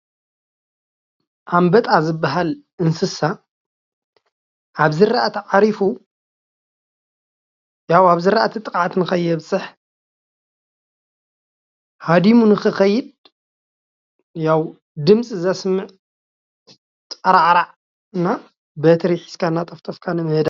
ኣንበጣ ዝባሃል እንስሳ ኣብ ዝራእቲ ዓሪፉ ያው ኣብ ዝራእቲ ጥቅዓት ንከየብፅሕ ሃዲሙ ንክከይድ ያው ድምፂ ዘስምዕ ጣራዕራዕ እና በትሪ ሕዝካ እናጠፍጠፍካ ንምህዳም ።